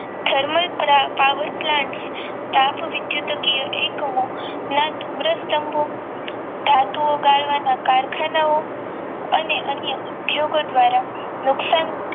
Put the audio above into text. Thermal power plant તાપ વિધુતકીય એકમો ના ધુમ્રસ્તંભો ધાતુઓ ગાળવાના કારખાનાઓ અને અન્ય ઉદ્યોગો દ્વારા નુકસાન